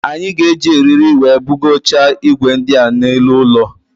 Anyị ga-eji eriri wee bugocha igwe ndia n'elu ụlọ